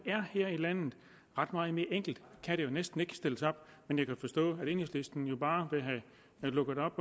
er her i landet ret meget mere enkelt kan det jo næsten ikke stilles op men jeg kan forstå at enhedslisten bare vil have lukket op